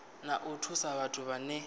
na u thusa vhathu vhane